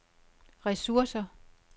ressourcer